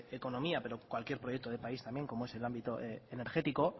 economía pero cualquier proyecto de país también como es el ámbito energético